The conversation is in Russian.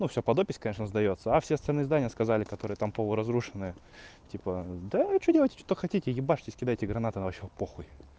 но всё под опись конечно сдаётся а все остальные здания сказали которые там полуразрушенные типа да что делайте что хотите ебашьтесь кидайте гранаты нам вообще по хуй